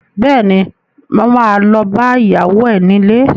Bẹ́ẹ̀ni, mo ma lọ bá ìyàwó ẹ nílé